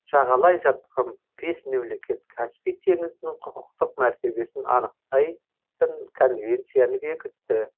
жағалай жатқан бес мемлекет каспий теңізінің құқықтық мәртебесін анықтайтын конвенцияны бекітті